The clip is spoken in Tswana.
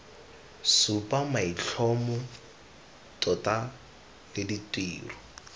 supa maitlhomo tota le ditiro